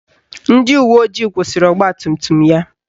Ndị uweojii kwụsịrị ọgbatumtum ya